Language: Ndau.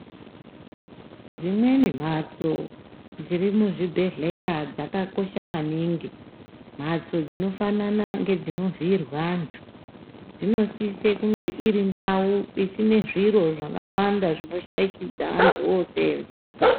Dzimweni mbatso dziri muzvibhedhlera dzakakosha maningi mbatso dzinofanana nedzinovhiirwa antu dzinosisa kunge iri ndau isina zviro zvakawanda inoshaishidza antu osenza.